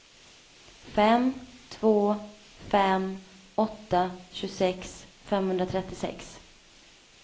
fem två fem åtta tjugosex femhundratrettiosex